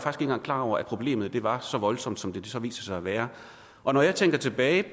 engang klar over at problemet var så voldsomt som det så viser sig at være og når jeg tænker tilbage